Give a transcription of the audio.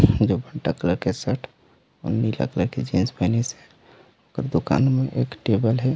जो भंटा कलर के शर्ट और नीला कलर के जीन्स पहनी से और दुकान मैं एक टेबल है।